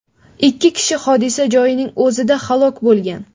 Ikki kishi hodisa joyining o‘zida halok bo‘lgan.